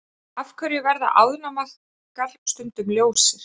Af hverju verða ánamaðkar stundum ljósir?